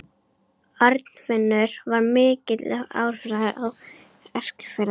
Arnfinnur var mikill áhrifamaður á Eskifirði.